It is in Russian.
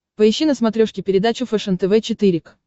поищи на смотрешке передачу фэшен тв четыре к